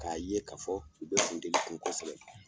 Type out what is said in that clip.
Ka ye ka fɔ u be funteni ku kosɛbɛ.